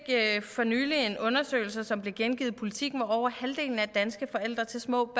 for nylig resultaterne af en undersøgelse som blev gengivet i politiken at over halvdelen af dansk forældre til små